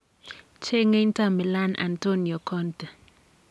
cheng'ei inter Milan Antonio Conte?